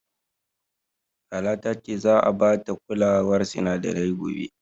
Lala ta ce za'a bata kulawar sinadarai gobe.